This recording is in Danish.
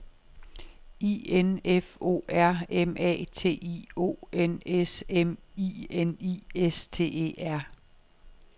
I N F O R M A T I O N S M I N I S T E R